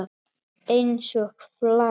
Einsog flagð.